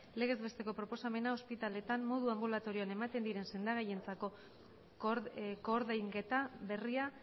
legez besteko proposamena ospitaleetan modu anbulatorioan ematen diren sendagaientzako koordainketa berria